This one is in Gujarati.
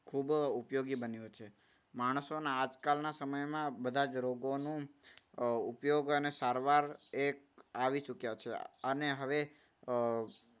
ખૂબ ઉપયોગી બન્યો છે. માણસોના આજકાલના સમયમાં બધા જ રોગોનું અમ ઉપયોગ અને સારવાર એક આવી ચૂક્યા છે. અને હવે અમ